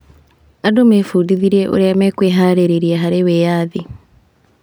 Andũ mebundithirie ũrĩa mekũĩharĩrĩria harĩ wĩyathi.